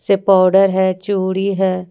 ये पाउडर है चूड़ी है।